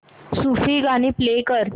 सूफी गाणी प्ले कर